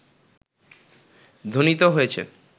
ধ্বনিত হয়েছে